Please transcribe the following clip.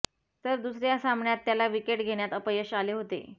तर दुसऱ्या सामन्यात त्याला विकेट घेण्यात अपयश आले होते